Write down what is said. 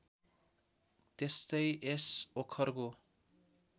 त्यस्तै यस ओखरको